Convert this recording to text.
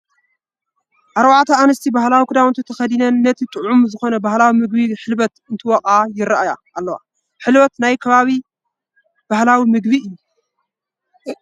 4 ኣንስቲ ባህላዊ ክዳውንቲ ተኸዲነን እቲ ጥዑም ዝኾነ ባህላዊ ምግቢ ሕልበት እንትወቕዓ ይረአያ ኣለዋ፡፡ ሕልበት ናይ ኣበይ ከባቢ ባህላዊ ምግቢ እዩ?